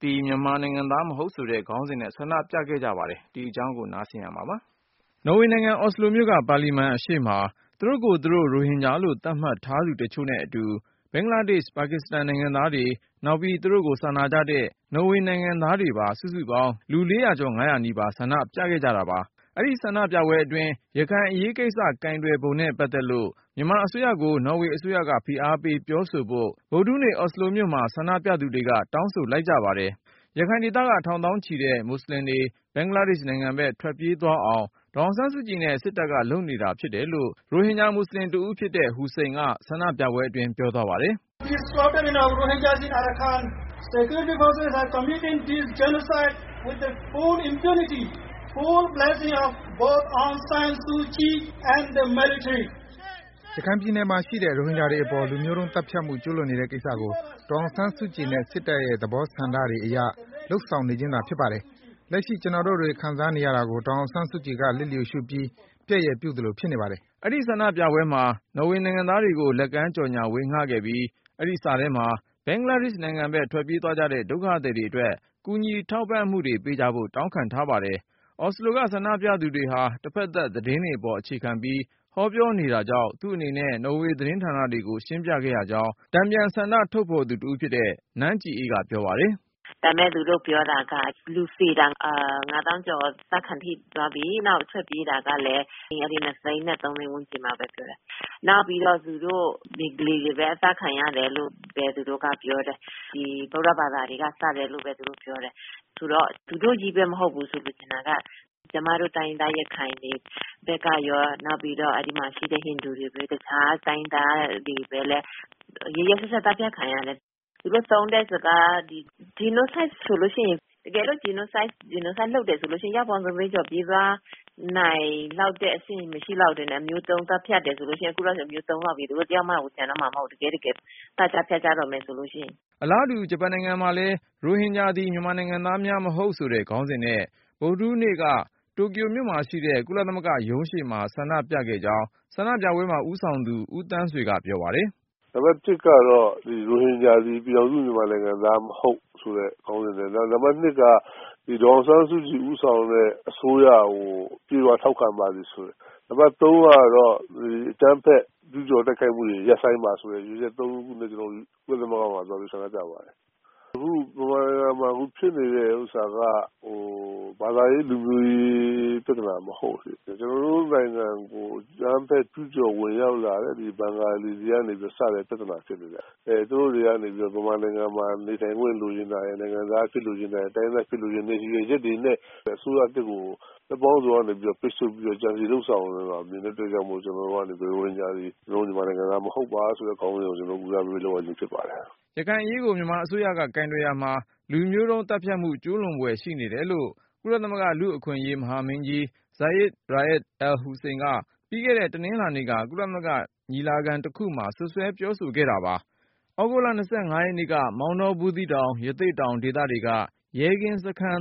သည် မြန်မာနိုင်ငံသား မဟုတ် ဆိုတဲ့ ခေါင်းစဉ်နဲ့ ဆန္ဒပြခဲ့ကြပါတယ်။ အကြောင်းစုံကို ကိုဉာဏ်ဝင်းအောင်က တင်ပြထားတာပါ။ နော်ဝေနိုင်ငံ အော်စလိုမြို့က ပါလီမန်အရှေ့မှာ သူတို့ကိုယ်သူတို့ ရိုဟင်ဂျာလို့ သတ်မှတ်ထားသူ တချို့နဲ့အတူ ဘင်္ဂလားဒေ့ရှ်၊ ပါကစ္စတန် နိုင်ငံသားတွေ နောက်ပြီး သူတို့ကို စာနာကြတဲ့ နော်ဝေ နိုင်ငံသားတွေပါ စုစုပေါင်း လူ ၄၀၀ ကျော် ၅၀၀ နီးပါး ဆန္ဒပြခဲ့ကြတာပါ။ အဲဒီ ဆန္ဒပြပွဲအတွင်း ရခိုင်အရေးကိစ္စ ကိုယ်တွယ်ပုံနဲ့ ပတ်သက်လို့ မြန်မာအစိုးရကို နော်ဝေအစိုးရက ဖိအားပေး ပြောဆိုဖို့ ဗုဒ္ဓဟူးနေ့ အော်စလိုမြို့မှာ ဆန္ဒပြသူတွေက တောင်းဆိုလိုက်ကြ တာပါ။ ရခိုင်ဒေသက ထောင်သောင်းချီတဲ့ မွတ်ဆလင်တွေ ဘင်္ဂလားဒေ့ရှ် နိုင်ငံဖက် ထွက်ပြေးသွားအောင် ဒေါ်အောင်ဆန်းစုကြည်နဲ့ စစ်တပ်က လုပ်နေတာ ဖြစ်တယ်လို့ ရိုဟင်ဂျာ မွတ်ဆလင်တဦး ဖြစ်တဲ့ ဟူစိန်က ဆန္ဒပြပွဲအတွင်း ပြောသွားပါတယ်။ “ ရခိုင်ပြည်နယ်မှာ ရှိတဲ့ ရိုဟင်ဂျာတွေပေါ် လူမျိုးတုံး သတ်ဖြတ်မှု ကျူးလွန်နေတဲ့ ကိစ္စကို ဒေါ်အောင်ဆန်းစုကြည်နဲ့ စစ်တပ်ရဲ့ သဘောဆန္ဒတွေ အရ လုပ်ဆောင်နေခြင်းသာ ဖြစ်ပါတယ်။ လက်ရှိ ကျနော်တို့တွေ ခံစားနေရတာကို ဒေါ်အောင်ဆန်းစုကြည်က လျစ်လျှူရှုပြီး ပျက်ရယ်ပြု သလို ဖြစ်နေ ပါတယ်။” အဲဒီ ဆန္ဒပြပွဲမှာ နော်ဝေ နိုင်ငံသားတွေကို လက်ကမ်းကြော်ငြာ ဝေငှခဲ့ပြီး၊ အဲဒီစာထဲမှာ ဘင်္ဂလားဒေ့ရှ် နိုင်ငံဘက် ထွက်ပြေးသွားကြတဲ့ ဒုက္ခသည်တွေ အတွက် ကူညီထောက်ပံ့မှု ပေးကြဖို့ တောင်းခံ ထားပါတယ်။ အော်စလိုက ဆန္ဒပြသူတွေဟာ တဖက်သတ် သတင်းတွေပေါ် အခြေခံပြီး ဟောပြောနေ တာကြောင့် သူ့အနေနဲ့ နော်ဝေသတင်းဌာန တွေကို ရှင်းပြခဲ့ရကြောင်း တန်ပြန်ဆန္ဒ ထုတ်ဖေါ်တဲ့ ကရင်တိုင်းရင်းသူ နန်းကြည်အေးက ပြောပါတယ်။ “ ဒါပေမယ့် သူတို့ ပြောတာက လူသေတာ ၅ သောင်းကျော် သတ်ခံထိ သွားပြီ။ ထွက်ပြေးတာကလည်း ၂ သိန်းနဲ့ သုံးသိန်း ဝန်းကျင်ဘဲ ပြောတယ်။ နောက်ပြီး သူတို့ ဘင်္ဂလီတွေဘဲ အသတ်ခံရတယ်လို့ သူတို့က ပြောတယ်။ ဒီ ဗုဒ္ဓဘာသာတွေက သတ်တယ်လို့ဘဲ သူတို့ ပြောတယ်။ ဆိုတော့ သူတို့ချည်းဘဲ မဟုတ်ဘူးဆိုပြီး ကျမတို့ တိုင်းရင်းသား ရခိုင်တွေ ဘက်ကရော၊ အဲဒီမှာ ရှိတဲ့ ဟိန္ဒူတွေရော တိုင်းရင်းသားတွေရော ရက်ရက်စက်စက် သတ်ခံရတယ်။ သူတို့ သုံးတဲ့ စကား ဒီ Genocide ဆိုလို့ ရှိရင် တကယ်လို့ Genocide လုပ်တယ် ဆိုလို့ ရှိရင် အယောက်ပေါင်း ၂ သိန်းကျော် ပြေးသွားနိုင်လောက်တဲ့ အဆင့် မရှိလောက်ဘူး။ အခုလောက်ဆို မျိုးတုံးလောက်ပြီ သူတို့ တယောက်မှတောင် ကျန်တော့မှာ မဟုတ်ဘူး။ တကယ့်တကယ် သတ်ကြ ဖြတ်ကြတော့မယ်ဆိုရင်။ ” အလားတူ ဂျပန်နိုင်ငံမှာလည်း ရိုဟင်ဂျာသည် မြန်မာနိုင်ငံသားများမဟုတ်ဆိုတဲ့ ခေါင်းစဉ်နဲ့ ဗုဒ္ဓဟူးနေ့က တိုကျိုမြို့ကုလသမဂ္ဂ ရုံးရှေ့မှာ ဆန္ဒပြခဲ့ကြောင်း ဆန္ဒပြပွဲမှာ ဦးဆောင်သူ ဦးသန်းဆွေက ပြောပါတယ်။ “ နံပတ် ကတော့ ရိုဟင်ဂျာသည် ပြည်ထောင်စု မြန်မာနိုင်ငံသား မဟုတ်ဆိုတဲ့ ခေါင်းစဉ်နဲ့။ နောက် နံပတ် ၂ က ဒေါ်အောင်ဆန်းစုကြည် ဦးဆောင်တဲ့ အစိုးရကို အပြည့်အ၀ ထောက်ခံပါသည်။နံပတ် ၃ ကတော့ အကြမ်းဖက် ကျူးကျော် တိုက်ခိုက်မှုတွေကို ရပ်ဆိုင်းပါ ဆိုတဲ့ ရည်ရွယ်ချက် သုံးခုနဲ့ ကျနော်တို့ ကုလသမဂ္ဂမှာ သွားပြီး ဆန္ဒပြပါတယ်။ ဗမာ နိုင်ငံမှာ အခု ဖြစ်နေတဲ့ ဥစ္စာက ဘာသာရေး လူမျိုးရေး ပြသနာ မဟုတ်ဘူး။ ကျနော်တို့ နိုင်ငံကို အကြမ်းဖက် ကျူးကျော် ဝင်ရောက်လာတဲ့ ဒီဘင်္ဂါလီတွေ ကနေစတဲ့ ပြသနာ ဖြစ်တယ်ဗျ။ အဲ သူတို့တွေကနေ ဗမာနိုင်ငံမှာ နေထိုင်ခွင့် လိုချင်တာရယ်၊ နိုင်ငံသား အဖြစ် လိုချင်တယ်။ တိုင်းရင်းသား ဖြစ်လိုတဲ့ ရည်ရွယ်ချက်တွေနဲ့ အစိုးရသစ်ကို ဘက်ပေါင်းစုံကနေ ပိတ်ဆို့ ပြီးတော့ ကြံစည်လုပ်ဆောင်လာတဲ့ အတွက် ကျနော်တို့ကနေ ရိုဟင်ဂျာသည် ကျနော်တို့ နိုင်ငံသား မဟုတ်ပါဆိုတဲ့ ခေါင်းစဉ်နဲ့ ဆန္ဒပြရခြင်း ဖြစ်ပါတယ်။ ” ရခိုင်အရေးကို မြန်မာအစိုးရက ကိုင်တွယ်ရာမှာ လူမျိုးတုံး သတ်ဖြတ်မှု ကျူးလွန်ဖွယ် ရှိနေတယ်လို့ ကုလသမဂ္ဂ လူ့အခွင့်အရေး မဟာမင်းကြီး Zeid Ra’ad al-Hussein က ပြီးခဲ့တဲ့ တနင်္လာနေ့က ကုလ ညီလာခံတခုမှာ စွပ်စွဲပြောခဲ့ပါတယ်။ သြဂုတ်လ ရက်နေ့က မောင်တော ဘူးသီးတောင် ရသေ့တောင် ဒေသတွေက ရဲကင်းစခန်း